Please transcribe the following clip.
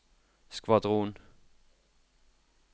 skvadron